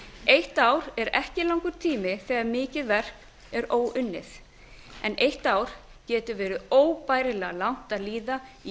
eitt ár er ekki langur tími þegar mikið verk er óunnið en eitt ár getur verið óbærilega langt að líða í